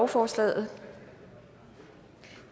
forslaget